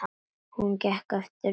Hún er eftir okkur Dídí.